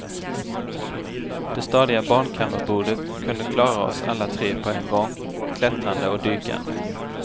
Det stadiga barnkammarbordet kunde klara oss alla tre på en gång, klättrande och dykande.